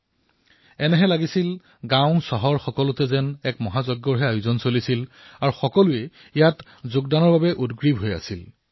চহৰেই হওক অথবা গাঁও এনে লাগে যেন সমগ্ৰ দেশতে এক বৃহৎ যজ্ঞৰ আয়োজন হৈছে যত প্ৰত্যেকেই নিজৰ যোগদান আগবঢ়াবলৈ আতুৰ হৈ আছে